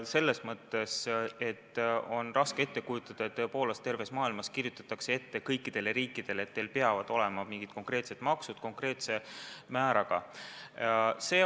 Selles mõttes, et on raske ette kujutada, et terves maailmas kirjutatakse kõikidele riikidele ette, et teil peavad olema mingid konkreetsed maksud konkreetsete määradega.